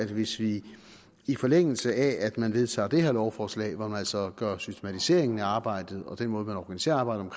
hvis vi i forlængelse af at man vedtager det her lovforslag hvor man altså gør systematiseringen af arbejdet og den måde man organiserer arbejdet